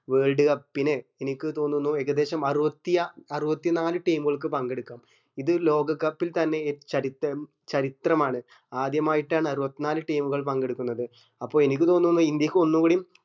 world cup നു എനിക്ക് തോന്നുന്നു ഏകേദശം ആറുവത്തി ആ ആറുവത്തി നാല് team ഉകൾക്ക് പങ്കെടുക്കാം ഇത് ലോക cup ൽ തന്നെ ചരിതം ചരിത്രമാണ് ആദ്യമായിട്ടാണ് ആറുവത്തി നാല് team ഉകൾ പങ്കെടുക്കുന്നത് അപ്പൊ എനിക്ക് തോന്നുന്നു ഇന്ത്യക്ക് ഒന്നു കൂടിയും